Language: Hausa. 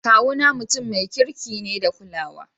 Kawu na mutumu ne mai kirki da kulawa.